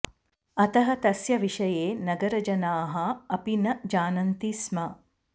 अतः तस्य विषये नगरजनाः अपि न जानन्ति स्म